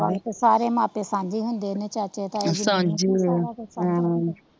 ਸਾਰੇ ਮਾਪੇ ਸਾਂਝੇ ਹੁੰਦੇ ਨੇ ਚਾਚੇ ਤਾਏ ਸਾਂਝੇ ਹਮਮ